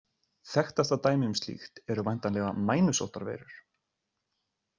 Þekktasta dæmi um slíkt eru væntanlega mænusóttarveirur.